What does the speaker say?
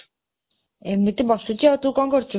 ଏମିତି ବସିଛି ଆଉ ତୁ କ'ଣ କରୁଛୁ?